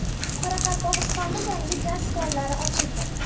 Qoraqalpog‘istonda yangi gaz konlari ochildi.